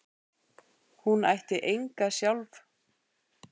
Hún ætti enga sjálf.